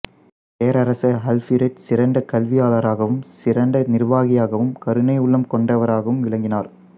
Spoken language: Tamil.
பேரரசர் ஆல்பிரெட் சிறந்த கல்வியாளராகவும் சிறாந்த நிர்வாகியாகவும் கருணையுள்ளம் கொண்டவராகவும் விளங்கினார்